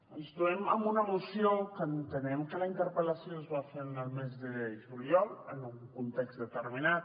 ens trobem amb una moció que entenem que la interpel·lació es va fer el mes de juliol en un context determinat